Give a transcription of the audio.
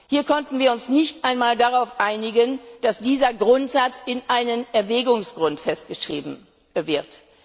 Hier konnten wir uns nicht einmal darauf einigen, dass dieser Grundsatz in einem Erwägungsgrund festgeschrieben wird.